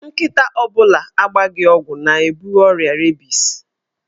Nkịta ọ bụla agbaghị ọgwụ na-ebu ọrịa rebis.